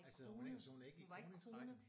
Altså hun er ikke så hun er ikke i kroningsrækken?